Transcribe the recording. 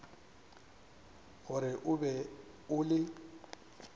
gore o be o le